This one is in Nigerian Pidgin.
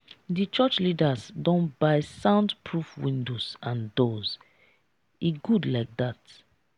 di church leaders don buy sound proof windows and doors e good like dat.